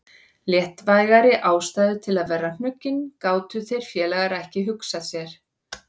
Léttvægari ástæðu til að vera hnuggin gátu þeir félagar ekki hugsað sér.